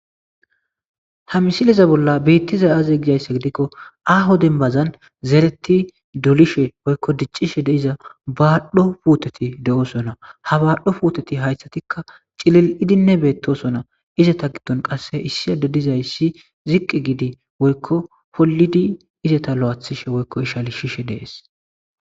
Ha misileza bolla betizay aze gizaysa gidikon aaho dembazin toketi dolishe woyko dicishe de'iza baadho puuteti de'osona, ha baadho puuteti haythatika cilil'id betosona,izeta gidoni qase issi adeyi dizaysi ziqi giidi woyko holidi izeta lo'ethishe woyko ishalisishe de'esi.